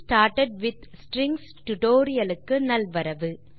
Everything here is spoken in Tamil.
getting started with strings tutorial க்கு நல்வரவு